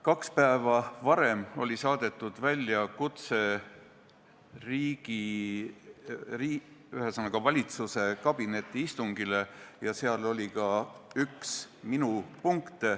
Kaks päeva varem oli saadetud välja kutse valitsuse kabinetiistungile ja seal oli ka üks minu punkt.